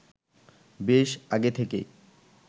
বেশ আগে থেকেই